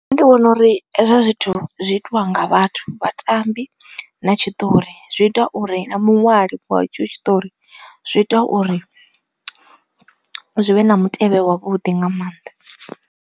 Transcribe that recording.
Nṋe ndi vhona uri hezwo zwithu zwi itiwa nga vhathu, vhatambi na tshiṱori zwi ita uri na muṅwali wa etsho tshiṱori zwi ita uri zwi vhe na mutevhe wavhuḓi nga maanḓa.